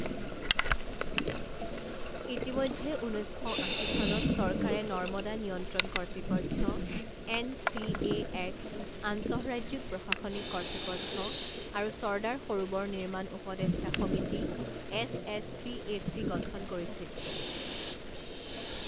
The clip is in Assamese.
ইতিমধ্যে, ঊনৈছ শ আশী চনত চৰকাৰে নৰ্মাদা নিয়ন্ত্ৰণ কৰ্তৃপক্ষ এন চি এ এক আন্তঃৰাজ্যিক প্ৰশাসনিক কৰ্তৃপক্ষ আৰু চৰ্দাৰ সৰোবৰ নিৰ্মাণ উপদেষ্টা সমিতি S S C A C গঠন কৰিছিল।